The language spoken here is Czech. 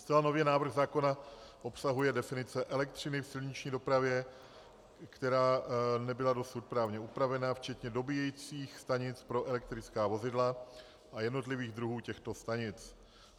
Zcela nově návrh zákona obsahuje definice elektřiny v silniční dopravě, která nebyla dosud právně upravena, včetně dobíjecích stanic pro elektrická vozidla a jednotlivých druhů těchto stanic.